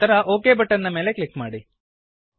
ನಂತರ okay button click ಮಾಡಿ